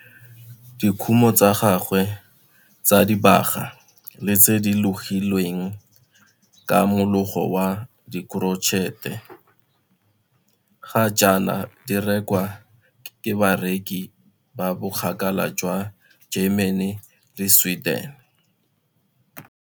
Dikumo tsa gagwe tsa dibaga le tse di logilweng ka mologo wa korotšhete ga jaana di rekwa ke bareki ba bokgakala jwa Germany le Sweden.